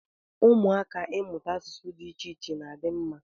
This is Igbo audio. Ụmụaka Ịmụta asụsụ dị iche iche na-adi mma.